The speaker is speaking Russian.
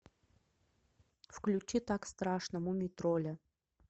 включи так страшно мумий тролля